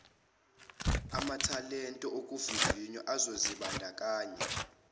amathalente ukuvivisa abazozimbandakanya